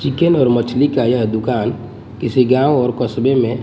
chicken और मछली का यह दुकान किसी गांव और कस्बे में--